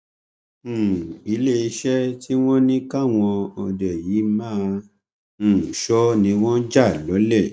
um iléeṣẹ tí wọn ní káwọn òde yìí máa um sọ ni wọn jà lọlẹ